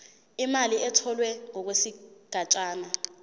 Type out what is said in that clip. imali etholwe ngokwesigatshana